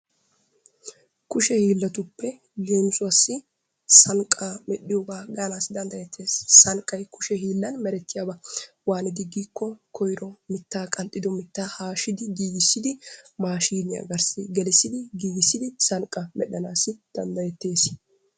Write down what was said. Kushe hiillatuppe leemisuwassi sanqaa medhdhiyogaa gaanassi danddayetees. Sanqay kushe hiillan merettiyaaba. Waanidi giikko koyro qanxxido mittaa haashidi giigissisdi maashiiniya garssi gelisidi giigissidi sanqa medhdhanaassi dandayetteesi.